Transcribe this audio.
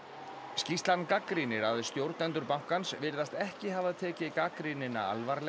skýrslan gagnrýnir að stjórnendur bankans virðast ekki hafa tekið gagnrýnina alvarlega